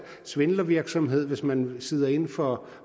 svindlervirksomhed hvis man sidder inde for